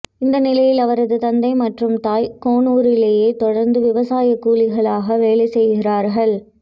இந்நிலையில் அவரது தந்தை மற்றும் தாய் கோனூரிலே தொடர்ந்து விவசாய கூலிகளாக வேலைசெய்கிறார்கள்